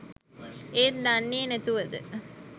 ඒත් දන්නෙ නැතුවද